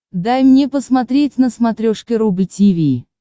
дай мне посмотреть на смотрешке рубль ти ви